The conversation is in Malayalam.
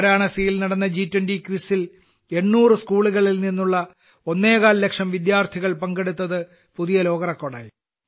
വാരാണസിയിൽ നടന്ന ജി20 ക്വിസിൽ 800 സ്കൂളുകളിൽ നിന്നുള്ള ഒന്നേകാൽ ലക്ഷം വിദ്യാർഥികൾ പങ്കെടുത്തത് പുതിയ ലോകറെക്കോർഡായി